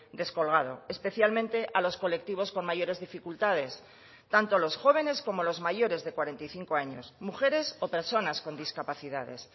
descolgado especialmente a los colectivos con mayores dificultades tanto los jóvenes como los mayores de cuarenta y cinco años mujeres o personas con discapacidades